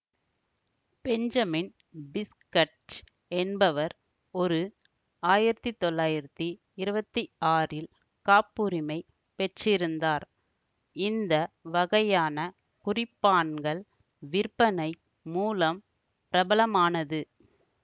Benjamin பிஸ்கட்ச் என்பவர் ஒரு ஆயிரத்தி தொள்ளாயிரத்தி இருவத்தி ஆறில் காப்புரிமை பெற்றிருந்தார் இந்த வகையான குறிப்பான்கள் விற்பனை மூலம் பிரபலமானது